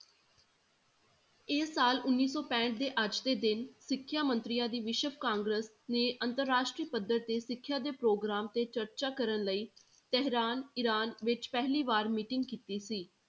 ਇਹ ਸਾਲ ਉੱਨੀ ਸੌ ਪੈਂਹਠ ਦੇ ਅੱਜ ਦੇ ਦਿਨ ਸਿਖਿਆ ਮੰਤਰੀਆਂ ਦੀਆਂ ਵਿਸ਼ਵ ਕਾਗਰਸ਼ ਨੇ ਅੰਤਰ ਰਾਸ਼ਟਰੀ ਪੱਧਰ ਤੇ ਸਿੱਖਿਆ ਦੇ ਪ੍ਰੋਗਰਾਮ ਤੇ ਚਰਚਾ ਕਰਨ ਲਈ ਤਹਿਰਾਨ, ਇਰਾਨ ਵਿੱਚ ਪਹਿਲੀ ਵਾਰ meeting ਕੀਤੀ ਸੀ।